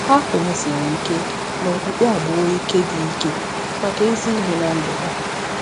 Ha kwenyesiri ike na okpukpe abụwo ike dị ike maka ezi ihe na ndụ ha.